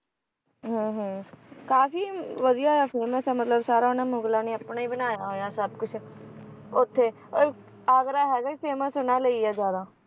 ਹਾਂ ਹਾਂ ਕਾਫੀ ਵਧੀਆ ਆ famous ਆ ਮਤਲਬ ਸਾਰਾ ਉਹਨਾਂ ਮੁਗ਼ਲਾਂ ਨੇ ਆਪਣਾ ਹੀ ਬਣਾਇਆ ਹੋਇਆ ਸਭ ਕੁਛ,